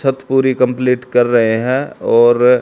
छत पूरी कंप्लीट कर रहे है और--